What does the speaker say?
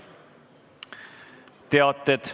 Teated.